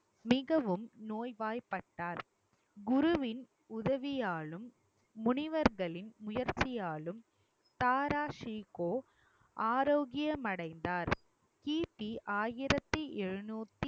மிகவும் நோய்வாய்ப்பட்டார் குருவின் உதவியாலும் முனிவர்களின் முயற்சியாலும் தாரா ஷீகோ ஆரோக்கியம் அடைந்தார் கிபி ஆயிரத்தி ஏழுநூத்தி